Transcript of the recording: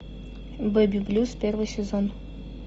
бэби блюз первый сезон